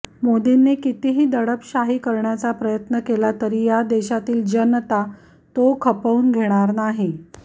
मोदींनी कितीही दडपशाही करण्याचा प्रयत्न केला तरी या देशातील जनता तो खपवून घेणार नाही